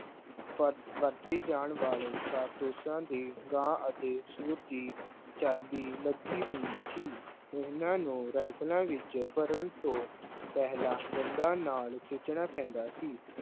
ਵ ਵਰਤੇ ਜਾਣ ਵਾਲੇ ਕਾਰਤੂਸਾਂ ਤੇ ਗਾਂ ਅਤੇ ਸੂਰ ਦੀ ਚਰਬੀ ਲੱਗੀ ਹੁੰਦੀ ਸੀ, ਇਹਨਾਂ ਨੂੰ ਰਾਇਫਲਾਂ ਵਿੱਚ ਭਰਨ ਤੋਂ ਪਹਿਲਾਂ ਦੰਦਾਂ ਨਾਲ ਖਿੱਚਣਾ ਪੈਂਦਾ ਸੀ।